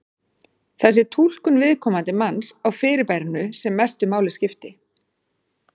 Það sé túlkun viðkomandi manns á fyrirbærinu sem mestu máli skipti.